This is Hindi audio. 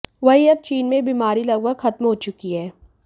वहीं अब चीन में यह बीमारी लगभग खत्म हो चुकी है